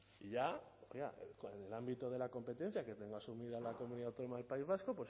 y ya con el ámbito de la competencia que tenga asumida la comunidad autónoma del país vasco